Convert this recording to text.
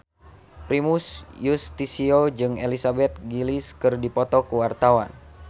Primus Yustisio jeung Elizabeth Gillies keur dipoto ku wartawan